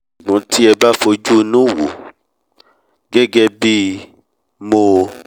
ṣùgbọ́n tí ẹ bá fojú inú wòó gẹ́gẹ́ bí mo